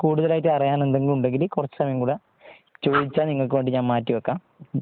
കൂടുതൽ ആയിട്ട് അറിയാൻ എന്തെങ്കിലും ഉണ്ടെങ്കിൽ കുറച്ചും സമയം കൂടി ചോതിച്ചാൽ നിങ്ങൾക്ക് വേണ്ടി ഞാൻ മാറ്റി വെയ്ക്കാം